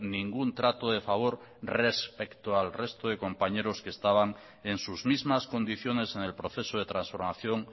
ningún trato de favor respecto al resto de compañeros que estaban en sus mismas condiciones en el proceso de transformación